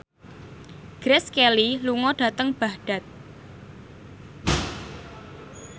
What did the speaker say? Grace Kelly lunga dhateng Baghdad